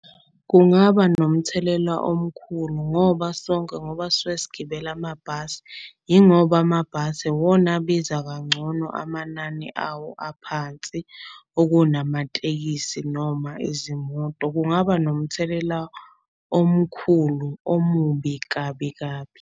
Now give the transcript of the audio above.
Kungaba nomthelela omkhulu ngoba sonke ngoba sisuke sigibela amabhasi. Ingoba amabhasi iwona abiza kangcono amanani awo aphansi okunamatekisi noma izimoto. Kungaba nomthelela omkhulu, omubi kabi kabi.